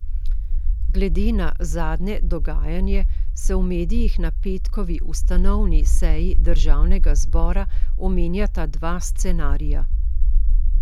Glede na zadnje dogajanje se v medijih na petkovi ustanovni seji državnega zbora omenjata dva scenarija.